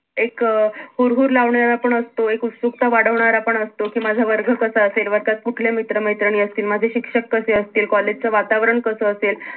एक अं हूर-हूर लावणींवर आपण असतो एक उत्सुकता वाढवणार आपण असतो कि माझा वर्ग कसा असल, वर्गात कुठले मित्र - मैत्रिणी असती, माझे शिक्षक कसे असतील, कॉलेज च वातावरण कास असेल